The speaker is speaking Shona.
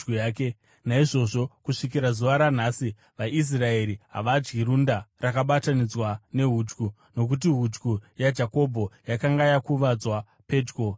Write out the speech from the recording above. Naizvozvo kusvikira zuva ranhasi vaIsraeri havadyi runda rakabatanidzwa nehudyu, nokuti hudyu yaJakobho yakanga yakuvadzwa pedyo nerunda.